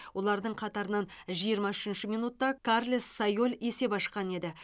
олардың қатарынан жиырма үшінші минутта карлес сайоль есеп ашқан еді